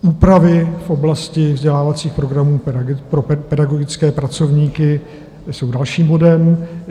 Úpravy v oblasti vzdělávacích programů pro pedagogické pracovníky jsou dalším bodem.